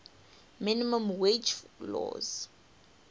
minimum wage laws